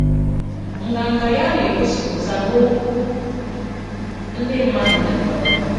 Nganga ya na-egosipụta n'okwu ndị mmadụ dekọrọ.